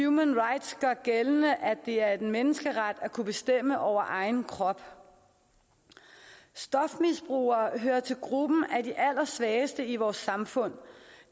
human rights gør gældende at det er en menneskeret at kunne bestemme over egen krop stofmisbrugere hører til gruppen af de allersvageste i vores samfund